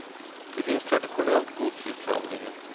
Det finns traditionellt gods i samlingen.